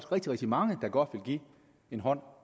rigtig rigtig mange der godt vil give en hånd